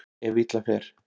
Ef illa fer.